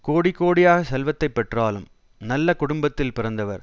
கோடி கோடியாகச் செல்வத்தை பெற்றாலும் நல்ல குடும்பத்தில் பிறந்தவர்